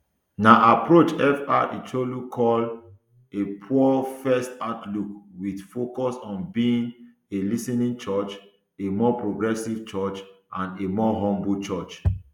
na approach fr chu ilo call a poorfirst outlook wit focus on being a lis ten ing church a more progressive church a more humble church